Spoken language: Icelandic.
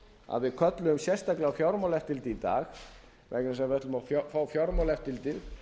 að við kölluðum sérstaklega á fjármálaeftirlitið í dag vegna þess að við ætluðum að fá fjármálaeftirlitið